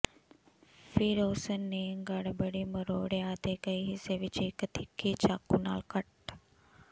ਫਿਰ ਉਸ ਨੇ ਗੜਬੜੀ ਮਰੋੜਿਆ ਅਤੇ ਕਈ ਹਿੱਸੇ ਵਿੱਚ ਇੱਕ ਤਿੱਖੀ ਚਾਕੂ ਨਾਲ ਕੱਟ